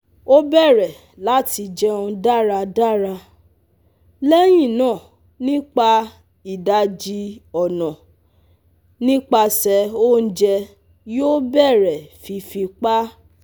O bẹrẹ lati jẹun daradara, lẹhinna nipa idaji ọna nipasẹ ounjẹ yoo bẹrẹ fifi pa